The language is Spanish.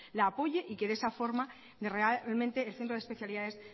la apoye y que de esa forma realmente el centro de especialidades